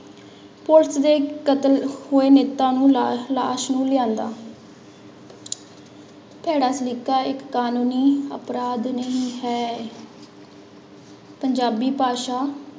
police ਦੇ ਕਤਲ ਹੋਏ ਨੇਤੇ ਨੂੰ ਲਾ ਲਾਸ਼ ਨੂੰ ਲਿਆਂਦਾ ਭੈੜਾ ਸਲੀਕਾ ਇੱਕ ਕਾਨੂੰਨੀ ਅਪਰਾਧ ਨਹੀਂ ਹੈ ਪੰਜਾਬੀ ਭਾਸ਼ਾ